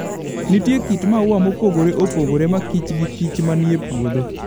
Nitie kit maua mopogore opogore ma kich gi kich manie puodho.